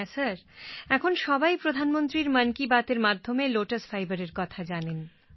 হ্যাঁ স্যার এখন সবাই প্রধানমন্ত্রীর মন কি বাতএর মাধ্যমে লোটাস ফাইবারের কথা জানেন